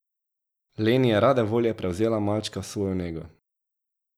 Leni je rade volje prevzela malčka v svojo nego.